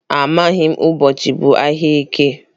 Amaghị m ụbọchị bụ ahịa eke.